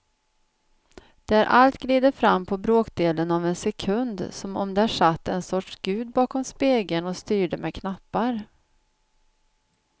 Där allt glider fram på bråkdelen av en sekund som om där satt en sorts gud bakom spegeln och styrde med knappar.